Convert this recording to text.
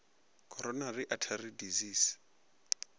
coronary artery disease